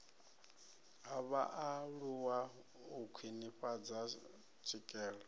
ha vhaaluwa u khwinifhadza tswikelelo